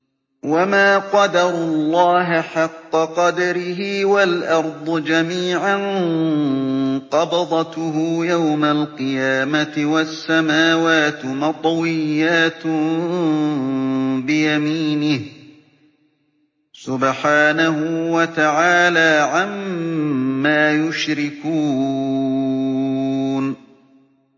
وَمَا قَدَرُوا اللَّهَ حَقَّ قَدْرِهِ وَالْأَرْضُ جَمِيعًا قَبْضَتُهُ يَوْمَ الْقِيَامَةِ وَالسَّمَاوَاتُ مَطْوِيَّاتٌ بِيَمِينِهِ ۚ سُبْحَانَهُ وَتَعَالَىٰ عَمَّا يُشْرِكُونَ